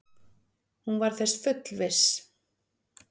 Hún var þess fullviss.